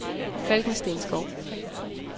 Falkensteenskov